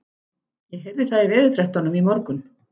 Ég heyrði það í veðurfréttunum í morgun.